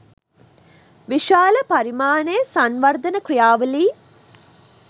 විශාල පරිමාණයේ සංවර්ධන ක්‍රියාවලීන්